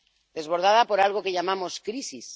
Desbordada por algo que llamamos crisis.